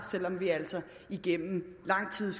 selv om vi altså igennem lang tid